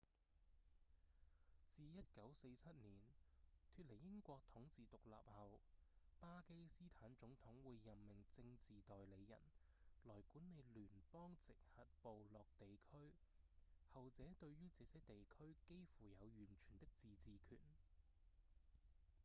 自1947年脫離英國統治獨立後巴基斯坦總統會任命「政治代理人」來管理聯邦直轄部落地區後者對於這些地區幾乎有完全的自治權